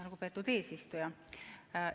Lugupeetud eesistuja!